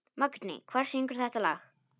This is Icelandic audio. Magney, hver syngur þetta lag?